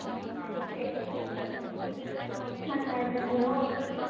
छान वाटत असेल ओ मग किती वाजतात तेही कळत नाही